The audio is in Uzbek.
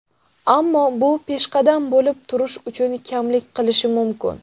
Ammo bu peshqadam bo‘lib turish uchun kamlik qilishi mumkin.